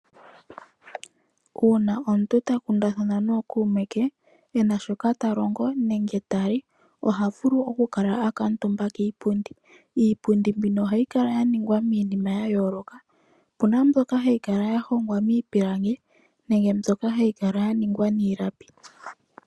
Uuna omuntu ta kundathana nookuume ke, e na shoka ta longo nenge ta li oha vulu okukala a kuutumba kiipundi. Iipundi mbino ohayi kala ya ningwa miinima ya yooloka. Opu na mbyoka hayi kala ya hongwa miipilangi nenge mbyoka hayi kala ya ningwa niilapi.